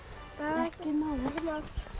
ekkert mál